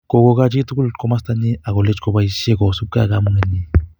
Kokoch chitugul komostanyi akolech koboisie kosubkei ak kamukenyi